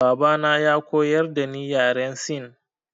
Baba na ya koyar dani yaren sin.